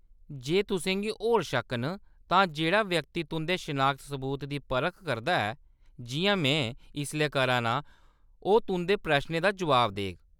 जे तुसें गी होर शक्क न, तां जेह्‌‌ड़ा व्यक्ति तुंʼदे शनाखत सबूत दी परख करदा ऐ, जिʼयां में इसलै करा नां, ओह्‌‌ तुंʼदे प्रश्नें दा जवाब देग।